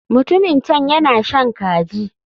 Mutumin can yana shan kaji.